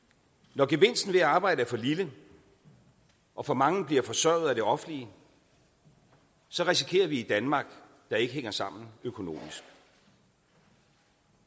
når gevinsten ved at arbejde er for lille og for mange bliver forsørget af det offentlige så risikerer vi et danmark der ikke hænger sammen økonomisk